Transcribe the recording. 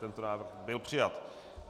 Tento návrh byl přijat.